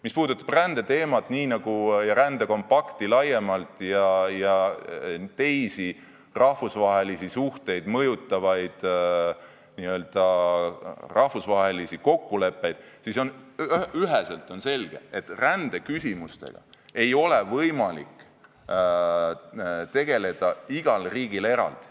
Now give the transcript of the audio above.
Mis puudutab rändeteemat, rändelepet ja teisi rahvusvahelisi suhteid mõjutavaid rahvusvahelisi kokkuleppeid, siis on üheselt selge, et rändeküsimustega ei ole võimalik tegeleda igal riigil eraldi.